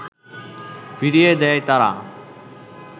ফিরিয়ে দেয় তারা